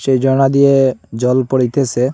এই ঝর্না দিয়ে জল পড়িতেসে।